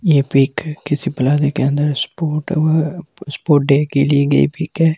यह पिक है किसी स्पोर्ट हुआ है स्पोर्ट डे की ली गई पिक है।